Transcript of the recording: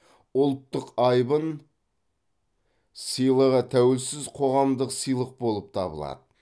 ұлттық айбын сыйлығы тәуелсіз қоғамдық сыйлық болып табылады